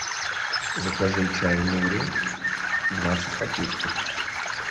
закажи чай нури двадцать пакетиков